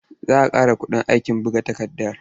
Za a ƙara kuɗin aikin buga takarda.